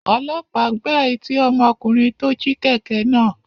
Ọlọ́pàá gbá etí ọmọkùnrin tó jí kẹ̀kẹ́ náà.